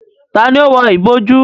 Tani ó wọ ìbojú?